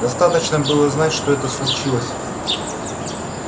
достаточно было знать что это случилось